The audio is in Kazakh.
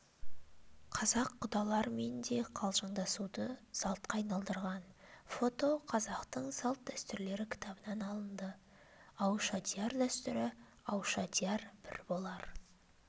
қазақ құдалармен де қалжыңдасуды салтқа айналдырған фото қазақтың салт-дәстүрлері кітабынан алынды аушадияр дәстүрі аушадияр бір болар